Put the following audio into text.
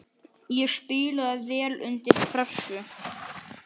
Ég spilaði vel undir pressu.